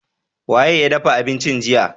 Wa ye ya dafa abincin jiya?